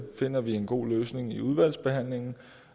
finder en god løsning i udvalgsbehandlingen